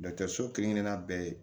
so kelen-kelenna bɛɛ ye